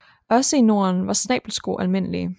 Også i Norden var snabelsko almindelige